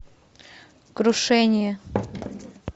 крушение